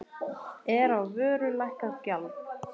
Er á vöru lækkað gjald.